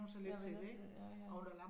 Ja vænner sig til det ja ja